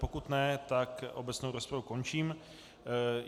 Pokud ne, tak obecnou rozpravu končím.